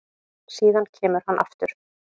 Síðan kemur hann aftur